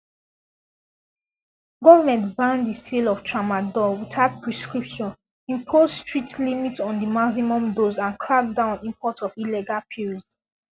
government ban di sale of tramadol without prescription impose strict limits on di maximum dose and crack down on imports of illegal pills